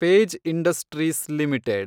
page Industries limited